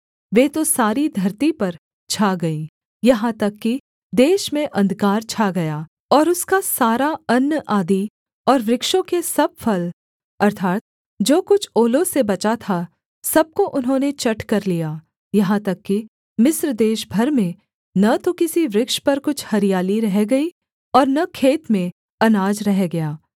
वे तो सारी धरती पर छा गईं यहाँ तक कि देश में अंधकार छा गया और उसका सारा अन्न आदि और वृक्षों के सब फल अर्थात् जो कुछ ओलों से बचा था सब को उन्होंने चट कर लिया यहाँ तक कि मिस्र देश भर में न तो किसी वृक्ष पर कुछ हरियाली रह गई और न खेत में अनाज रह गया